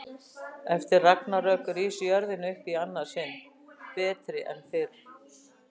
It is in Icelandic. Eftir ragnarök rís jörðin upp í annað sinn, betri en fyrr.